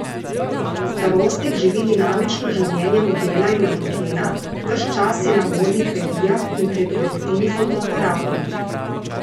Starostnik živi dinamično življenje modela in manekena, ves čas je na modnih revijah in pred objektivi fotoaparatov.